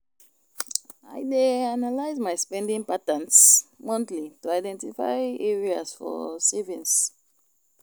I dey analyze my spending patterns monthly to identify areas for savings.